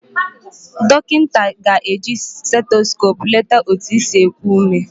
Dọkịnta ga-eji setoskop leta otu isi ekụ ụme.